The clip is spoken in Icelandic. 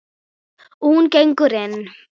Og hún gengur inn.